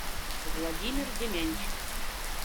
владимир демянчик